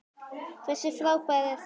Hversu frábær er hann?